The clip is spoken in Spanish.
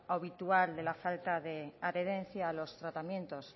habitual de la falta de adherencia a los tratamientos